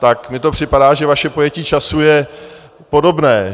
Tak mi to připadá, že vaše pojetí času je podobné.